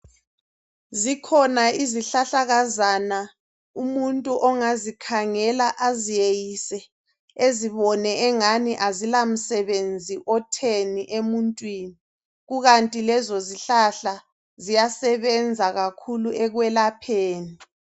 Zikhona izihlahlakazana umuntu ongazikhangela aziyeyise ezibone engani azila msebenzi otheni emuntini kukanti lezo zihlahla ziyasebenza kakhulu ekwelapheni.